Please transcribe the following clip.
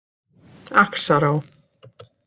Axará